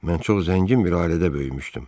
Mən çox zəngin bir ailədə böyümüşdüm.